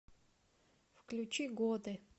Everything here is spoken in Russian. включи годы